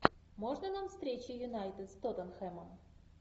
можно нам встречи юнайтед с тоттенхэмом